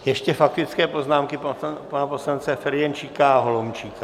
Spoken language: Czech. Ještě faktické poznámky pana poslance Ferjenčíka a Holomčíka.